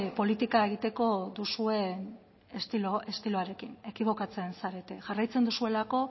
politika egiteko duzuen estiloarekin ekibokatzen zarete jarraitzen duzuelako